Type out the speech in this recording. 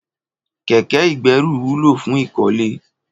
Kẹ̀kẹ igbẹ̀rú wùló fùn ikọ̀lé